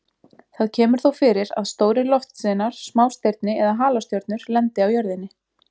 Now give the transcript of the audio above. Það kemur þó fyrir að stórir loftsteinar, smástirni eða halastjörnur lendi á jörðinni.